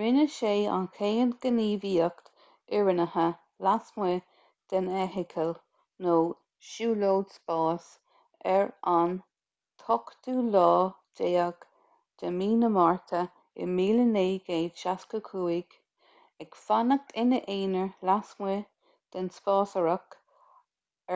rinne sé an chéad ghníomhaíocht fhoireannaithe lasmuigh den fheithicil nó siúlóid spáis ar an 18 márta 1965 ag fanacht ina aonar lasmuigh den spásárthach